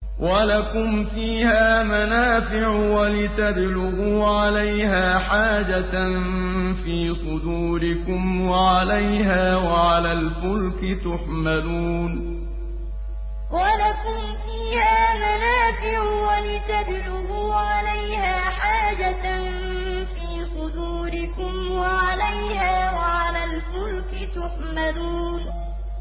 وَلَكُمْ فِيهَا مَنَافِعُ وَلِتَبْلُغُوا عَلَيْهَا حَاجَةً فِي صُدُورِكُمْ وَعَلَيْهَا وَعَلَى الْفُلْكِ تُحْمَلُونَ وَلَكُمْ فِيهَا مَنَافِعُ وَلِتَبْلُغُوا عَلَيْهَا حَاجَةً فِي صُدُورِكُمْ وَعَلَيْهَا وَعَلَى الْفُلْكِ تُحْمَلُونَ